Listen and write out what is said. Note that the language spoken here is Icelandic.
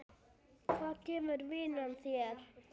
Hvað gefur vinnan þér?